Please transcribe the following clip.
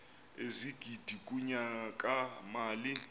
ezigidi kunyaka mali